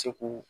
Seko